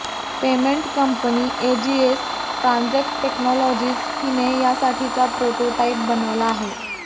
payment company AGS transact technologies हिने यासाठीचा prototype बनवला आहे